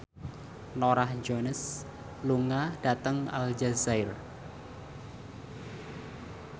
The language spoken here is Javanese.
Norah Jones lunga dhateng Aljazair